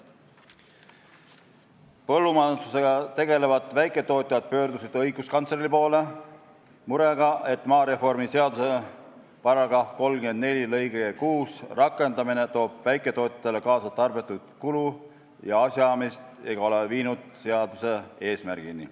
Põllumajandusega tegelevad väiketootjad pöördusid õiguskantsleri poole murega, et maareformi seaduse § 34 lõike 6 rakendamine toob väiketootjatele kaasa tarbetut kulu ja asjaajamist ega ole viinud seaduse eesmärgini.